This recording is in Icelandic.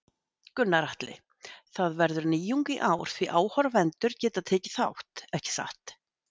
Gunnar Atli: Það verður nýjung í ár því áhorfendur geta tekið þátt, ekki satt?